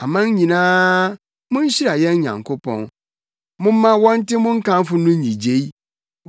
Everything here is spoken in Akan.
Aman nyinaa, munhyira yɛn Nyankopɔn, momma wɔnte mo nkamfo no nnyigyei;